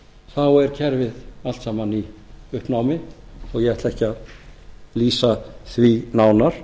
þá er kerfið allt saman í uppnámi og ég ætla ekki að lýsa því nánar